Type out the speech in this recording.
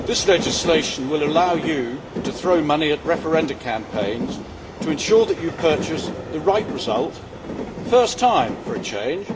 Mr President, this legislation will allow the EU to throw money at referendum campaigns to ensure that it purchases the right result first time, for a change!